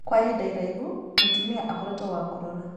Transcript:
kwa ihinda iraihu, mũtumia akoretũo wa kũrora